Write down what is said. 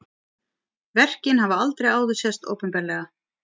Verkin hafa aldrei áður sést opinberlega